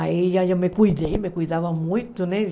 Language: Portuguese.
Aí eu já eu me cuidei, me cuidava muito, né?